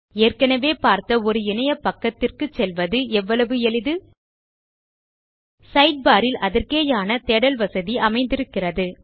ஏற்கனவே பார்த்த ஒரு இணையபக்கத்திற்கு செல்வது எவ்வளவு எளிது சைட்பார் ல் அதற்கேயான தேடல் வசதி அமைந்திருக்கிறது